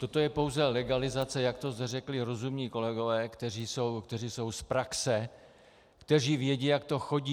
Toto je pouze legalizace, jak to řekli rozumní kolegové, kteří jsou z praxe, kteří vědí, jak to chodí.